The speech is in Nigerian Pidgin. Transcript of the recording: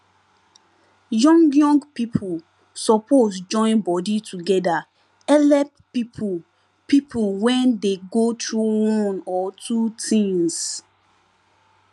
young young people suppose join body together helep people people when dey go through one or two things